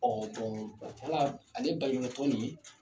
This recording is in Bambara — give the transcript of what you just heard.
Ɔ ale baɲumankɛtɔn nin